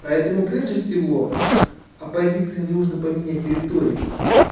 поэтому прежде всего оппозиции нужно поменять риторику